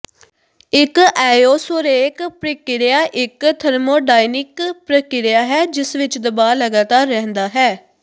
ਇਕ ਐਓਸੋਰੇਕ ਪ੍ਰਕਿਰਿਆ ਇਕ ਥਰਮੋਡਾਇਨੀਕ ਪ੍ਰਕਿਰਿਆ ਹੈ ਜਿਸ ਵਿਚ ਦਬਾਅ ਲਗਾਤਾਰ ਰਹਿੰਦਾ ਹੈ